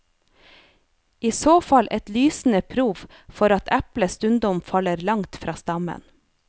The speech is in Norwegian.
I så fall et lysende prov for at eplet stundom faller langt fra stammen.